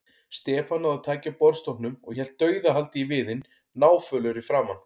Stefán náði taki á borðstokknum og hélt dauðahaldi í viðinn, náfölur í framan.